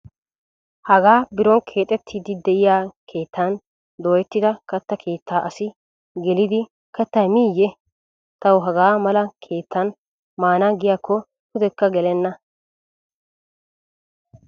Hagaa biron keexeettiddi diyaa keettan dooyettida katta keettaa asi gelidi kattaa miiyye? Tawu hagaa mala keettan maana giyaakko pudekka gelenna.